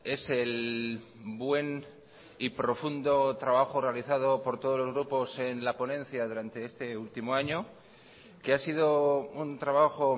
es el buen y profundo trabajo realizado por todos los grupos en la ponencia durante este último año que ha sido un trabajo